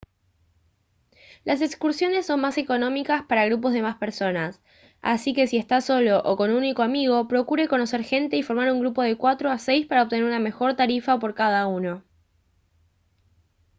las excursiones son más económicas para grupos de más personas así que si está solo o con un único amigo procure conocer gente y formar un grupo de cuatro a seis para obtener una mejor tarifa por cada uno